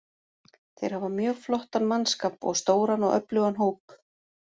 Þeir hafa mjög flottan mannskap og stóran og öflugan hóp.